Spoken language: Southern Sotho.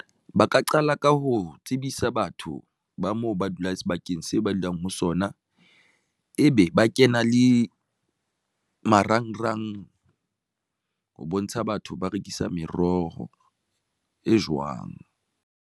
Ba ka qala ka ho tsebisa batho ba moo ba dulang sebakeng seo ba dulang ho sona, ebe ba kena le marangrang ho bontsha batho ba rekisa meroho e jwang.